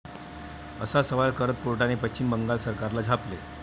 असा सवाल करत कोर्टाने पश्चिम बंगाल सरकारला झापले.